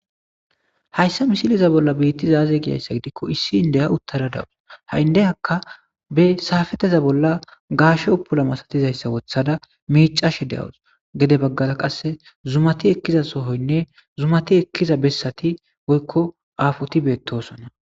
Hayssa misiliza bolla biittizaaze giyayssa gidikko issi indeya uttara dawus ha7indeyakka be saafeteza bolla gaashe upula masatizayssa wothada miicashe de'awus gede baggala qasse zumati ekkiza sohoynne zumati ekkiza bessati goykko afoti beettosona.